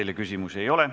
Teile küsimusi ei ole.